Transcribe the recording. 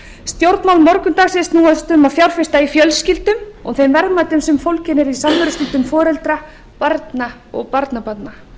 stjórnmál morgundagsins snúast um að fjárfesta í fjölskyldum og þeim verðmætum sem fólgin eru í því samverustundum foreldra barna og barnabarna